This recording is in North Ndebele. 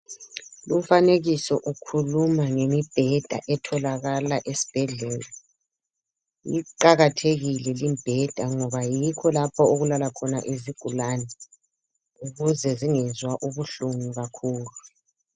Lumfanekiso ukhuluma ngemibheda etholakaka esibhedlela. Iqakathekile limbheda, ngoba yikho lapha okulala khona izigulane, ukuze zingezwa ubuhlungu kakhulu.